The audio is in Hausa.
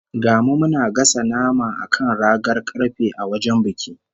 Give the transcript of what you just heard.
Ga mu muna gasa nama a kan ragar karfe a wajen biki